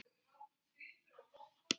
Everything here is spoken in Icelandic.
Ef svo er, hvernig?